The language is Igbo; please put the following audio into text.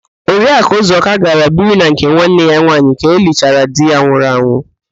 Oriakụ Ụzọka gara biri na nke nwanne ya nwaanyị ka elichara di ya nwụrụ anwụ